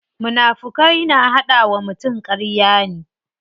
Munafukai na hada wa mutum karya ne.